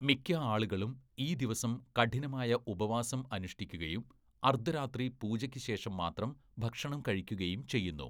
മിക്ക ആളുകളും ഈ ദിവസം കഠിനമായ ഉപവാസം അനുഷ്ഠിക്കുകയും അർദ്ധരാത്രി പൂജയ്ക്ക് ശേഷം മാത്രം ഭക്ഷണം കഴിക്കുകയും ചെയ്യുന്നു.